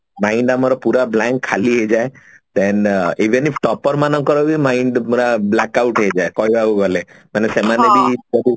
mind ନା ମୋର blank ପୁରା ଖାଲି ହେଇଯାଏ then even if topper ମାନଙ୍କର ବି mind ପୁରା blackout ହେଇଯାଏ କହିବାକୁ ଗଲେ ମାନେ ସେମାନେ ବି ବହୁତ